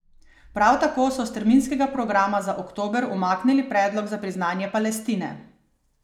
Prav tako so s terminskega programa za oktober umaknili predlog za priznanje Palestine.